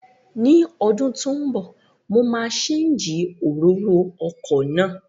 Ní ọdún tó ń bọ̀, mo máa séǹjì òróró ọkọ̀ náà